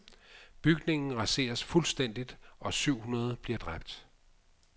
Bygningen raseres fuldstændigt og syv hundrede bliver dræbt.